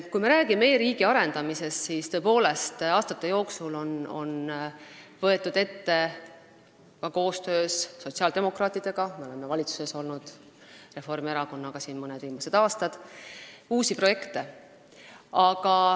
Kui me räägime e-riigi arendamisest, siis tuleb öelda, et tõepoolest on aastate jooksul võetud ette ka koostöös sotsiaaldemokraatidega – me oleme ka koos Reformierakonnaga siin mõned viimased aastad valitsuses olnud – uusi projekte.